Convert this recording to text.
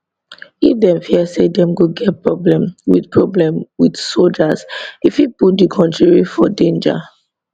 if dem fear say dem go get problem wit problem wit soldiers e fit put di kontiri for danger